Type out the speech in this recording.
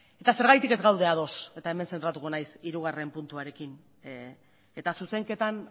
eta zergatik ez gaude ados eta hemen zentratuko naiz hirugarrena puntuarekin eta zuzenketan